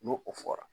N'o o fɔra